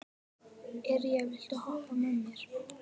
Irja, viltu hoppa með mér?